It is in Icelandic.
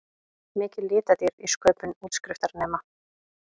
Mikil litadýrð í sköpun útskriftarnema